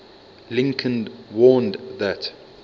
lincoln warned that